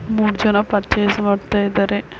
ಮೂರ್ ಜನ ಪೂರ್ಚಸ್ ಮಾಡ್ತಾ ಇದಾರೆ.